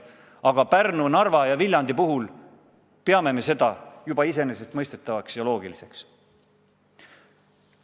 Aga Pärnu, Narva ja Viljandi puhul peame me seda juba iseenesestmõistetavaks ja loogiliseks.